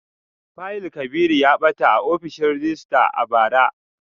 Fayil Kabiru ya bata a ofishin rejista a bara